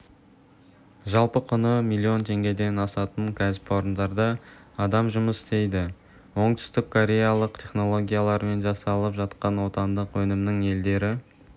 жалпы құны млн теңгеден асатын кәсіпорында адам жұмыс істейді оңтүстіккореялық технологиямен жасалып жатқан отандық өнімнің елдері